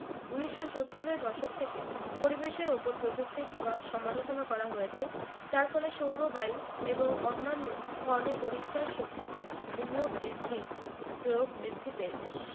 উনিশশো সত্তর এর দশক থেকে পরিবেশের উপর প্রযুক্তির প্রভাব সমালোচনা করা হয়েছে যার ফলে সৌর বায়ু এবং অন্যান্য ধরনের পরিষ্কার শক্তিতে বিনিয়োগ বৃদ্ধি প্রয়োগ বৃদ্ধি পেয়েছে